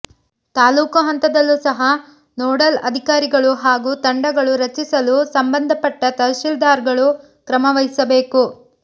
ತಾಲ್ಲೂಕು ಹಂತದಲ್ಲೂ ಸಹ ನೋಡಲ್ ಅಧಿಕಾರಿಗಳು ಹಾಗೂ ತಂಡಗಳು ರಚಿಸಲು ಸಂಬಂಧಪಟ್ಟ ತಹಶೀಲ್ದಾರ್ಗಳು ಕ್ರಮವಹಿಸಬೇಕು